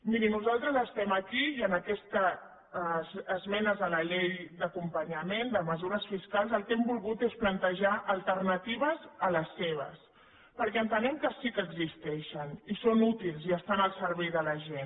miri nosaltres estem aquí i en aquestes esmenes a la llei d’acompanyament de mesures fiscals el que hem volgut és plantejar alternatives a les seves perquè entenem que sí que existeixen i que són útils i que estan al servei de la gent